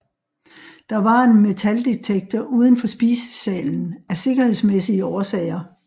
Der var en metaldetektor uden for spisesalen af sikkerhedsmæssige årsager